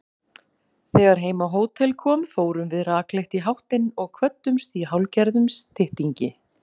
Þegar heim á hótel kom fórum við rakleitt í háttinn og kvöddumst í hálfgerðum styttingi.